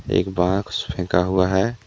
एक बाक्स फेंका हुआ है।